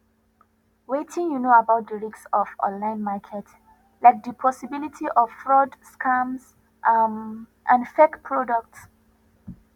wetin you know about di risk of online markets like di possibility of fraud scams um and fake products